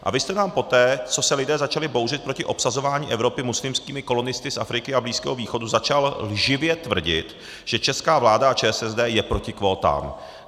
A vy jste nám poté, co se lidé začali bouřit proti obsazování Evropy muslimskými kolonisty z Afriky a Blízkého východu, začal lživě tvrdit, že česká vláda a ČSSD je proti kvótám.